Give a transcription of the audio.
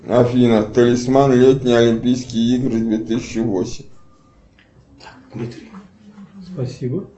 афина талисман летние олимпийские игры две тысячи восемь